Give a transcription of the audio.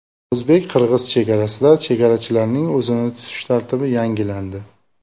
O‘zbek-qirg‘iz chegarasida chegarachilarning o‘zini tutish tartibi yangilandi.